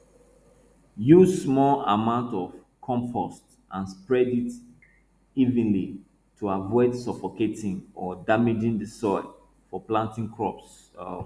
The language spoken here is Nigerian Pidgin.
use small amounts of compost and spread it evenly to avoid suffocating or damaging the soil for planting crops um